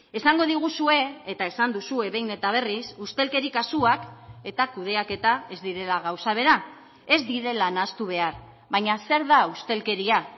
esango diguzue eta esan duzue behin eta berriz ustelkeri kasuak eta kudeaketa ez direla gauza bera ez direla nahastu behar baina zer da ustelkeria